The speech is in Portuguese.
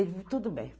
Ele, tudo bem.